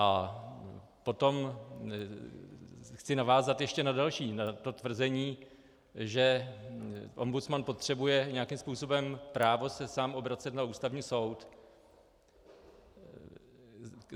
A potom chci navázat ještě na další, na to tvrzení, že ombudsman potřebuje nějakým způsobem právo se sám obracet na Ústavní soud.